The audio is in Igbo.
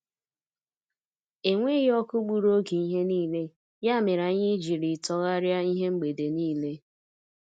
Enweghị ọkụ gburu oge ihe niile, ya mere anyị jiri tọgharịa ihe mgbede niile.